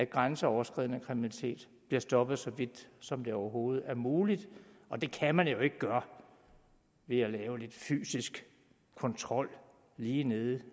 grænseoverskridende kriminalitet bliver stoppet så vidt som overhovedet muligt og det kan man jo ikke gøre ved at lave lidt fysisk kontrol lige nede